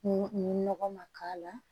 N nɔgɔ ma k'a la